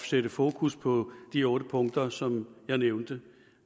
sætte fokus på de otte punkter som jeg nævnte